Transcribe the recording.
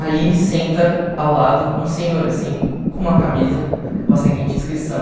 Aí senta ao lado um senhor, assim, com uma camisa com a seguinte inscrição.